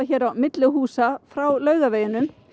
hér á milli húsa frá Laugavegi